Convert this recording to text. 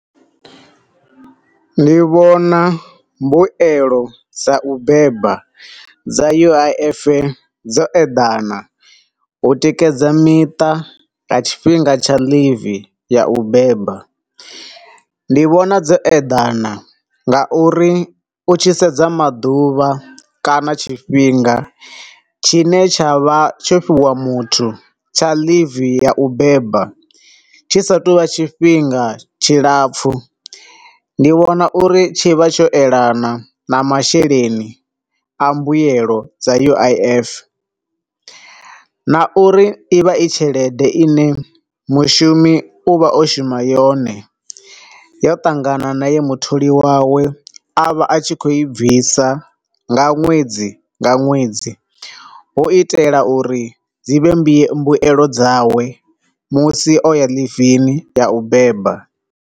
Ndi vhona mbuelo dza u beba dza U_I_F dzo eḓana u tikedza miṱa nga tshifhinga tsha leave ya u beba. Ndi vhona dzo eḓana nga uri u tshi sedza maḓuvha kana tshifhinga tshine tsha vha tsho fhiwa muthu tsha leave ya u beba tshi sa tu vha tshifhinga tshi lapfu. Ndi vhona uri tshi vha tsho elana na masheleni a mbuelo dza U_I_F, na uri ivha i tshelede ine mushumi u vha o shuma yone, yo ṱangana na ye mutholi wawe a vha a tshi kho i bvisa nga ṅwedzi nga ṅwedzi u itela uri dzi vhe mbuelo dzawe musi o ya ḽivini ya u beba.